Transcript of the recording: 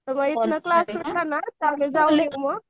class सुटला ना त्यावेळी जाऊ मग